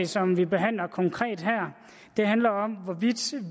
som vi behandler konkret her handler om hvorvidt